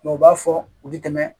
u b'a fɔ u bɛ tɛmɛ